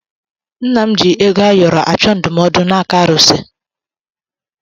Nna m ji ego ayọrọ achọ ndụmọdụ n'aka arụsị.